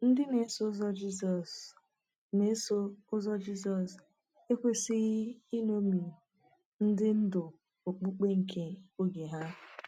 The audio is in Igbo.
Ndị na-eso Ụzọ Jizọs na-eso Ụzọ Jizọs ekwesịghị iṅomi ndị ndu okpukpe nke oge ha.